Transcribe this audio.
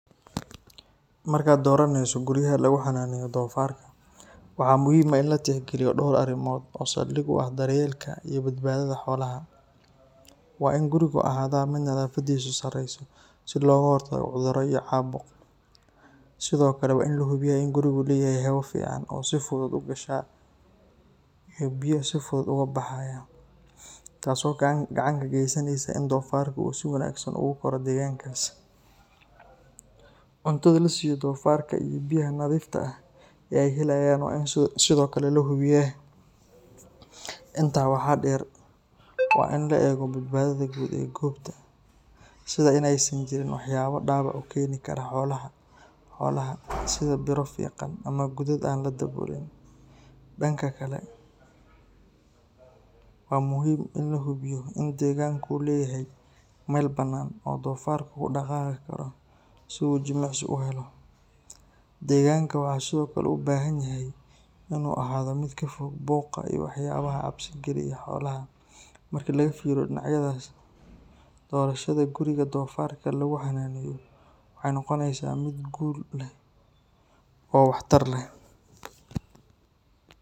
Markaad dooraneyso guriyaha lagu xanaaneeyo doofaarka, waxaa muhiim ah in la tixgeliyo dhowr arrimood oo saldhig u ah daryeelka iyo badbaadada xoolaha. Waa in gurigu ahaadaa mid nadaafaddiisu sarrayso si looga hortago cudurro iyo caabuq. Sidoo kale, waa in la hubiyaa in gurigu leeyahay hawo fiican oo si fudud u gasha iyo biyo si fudud uga baxaya, taasoo gacan ka geysaneysa in doofaarka uu si wanaagsan ugu korro deegaankaas. Cuntada la siiyo doofaarka iyo biyaha nadiifta ah ee ay helayaan waa in sidoo kale la hubiyaa. Intaa waxaa dheer, waa in la eego badbaadada guud ee goobta, sida in aysan jirin waxyaabo dhaawac u keeni kara xoolaha sida biro fiiqan ama godad aan la daboolin. Dhanka kale, waa muhiim in la hubiyo in deegaanka uu leeyahay meel bannaan oo doofaarku ku dhaqaaqi karo si uu jimicsi u helo. Deegaanka wuxuu sidoo kale u baahan yahay inuu ahaado mid ka fog buuqa iyo waxyaabaha cabsi geliya xoolaha. Marka laga fiiriyo dhinacyadaas, doorashada guriga doofaarka lagu xanaaneeyo waxay noqonaysaa mid guul leh oo waxtar leh.